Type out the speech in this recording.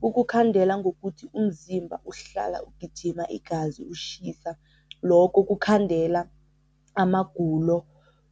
Kukukhandela ngokuthi umzimba uhlala ugijima igazi, ushisa. Lokho kukhandela amagulo